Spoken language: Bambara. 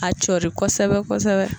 A cɔri kosɛbɛ kosɛbɛ